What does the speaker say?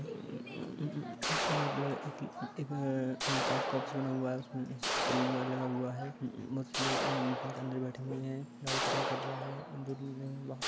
म-म-म मतलब इ-इ-इ इधर काच का ऑफिस बना हुआ है उसमे सलून बोर्ड लगा हुवा हैं पांच लोग अंदर बेठ हैं नाई कटिंग कर रहा हैं।